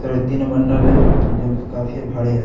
यहाँ तीन बंडल है जो काफी भाड़ी है।